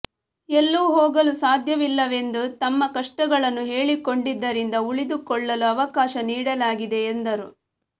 ಎಲ್ಲೂ ಹೋಗಲು ಸಾಧ್ಯವಿಲ್ಲವೆಂದು ತಮ್ಮ ಕಷ್ಟಗಳನ್ನು ಹೇಳಿಕೊಂಡಿದ್ದರಿಂದ ಉಳಿದುಕೊಳ್ಳಲು ಅವಕಾಶ ನೀಡಲಾಗಿದೆ ಎಂದರು